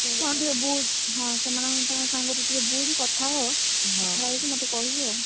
ହଁ, ଟିକେ ବୁଝୁ, ସେମାନଙ୍କ ଠାରୁ ଟିକେ ବୁଝୁ କଥା ହ କଥା ହେଇକି ମତେ କହିବୁ ଆଉ।